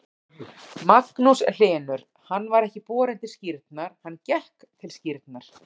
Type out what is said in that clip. Magnús Hlynur: Hann var ekki borinn til skírnar, hann gekk til skírnar?